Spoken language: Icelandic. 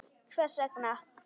Hvers vegna?